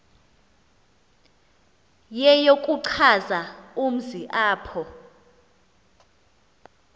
yeyokuchaza umzi apho